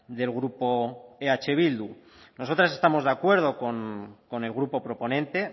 del grupo eh bildu nosotros estamos de acuerdo con el grupo proponente